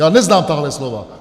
Já neznám tahle slova!